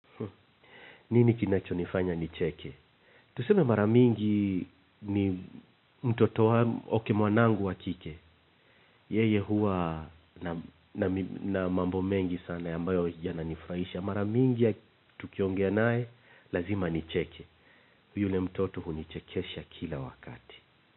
Nini kinacho nifanya nicheke? Tuseme mara mingi ni mtoto wangu mwanangu wa kike. Yeye huwa na mambo mengi sana ambayo yananifurahisha. Mara mingi tukiongea naye, lazima nicheke. Yule mtoto hunichekesha kila wakati.